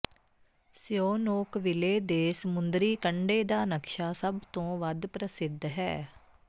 ਸਿਓਨੋਕਵਿਲੇ ਦੇ ਸਮੁੰਦਰੀ ਕੰਢੇ ਦਾ ਨਕਸ਼ਾ ਸਭ ਤੋਂ ਵੱਧ ਪ੍ਰਸਿੱਧ ਹੈ